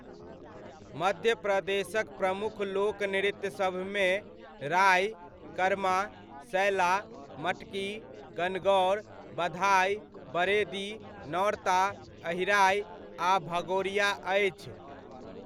मध्य प्रदेशक प्रमुख लोक नृत्यसभमे राइ, कर्मा, सैला, मटकी, गणगौर, बधाइ, बरेदी, नौरता, अहिराइ आ भगोरिया अछि।